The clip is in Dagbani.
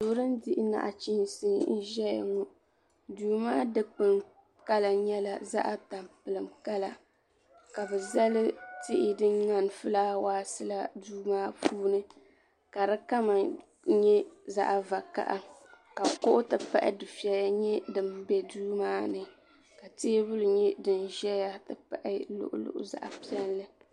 Yili n diɣi naɣachiinsi ʒɛya ŋɔ duu maa dikpuni kala nyɛla zaɣa tamplim kala ka bi zali tihi din ŋmani filaawaas la duu maa puuni ka di kama nyɛ zaɣa vakaha ka kuɣu ti pahi dufiɛya nyɛ din bɛ duu maa ni ka teebuli nyɛ din ʒɛya ti pahi luɣuluɣu zaɣa piɛlli.